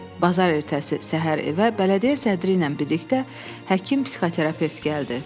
Bazar ertəsi səhər evə bələdiyyə sədri ilə birlikdə həkim-psixoterapevt gəldi.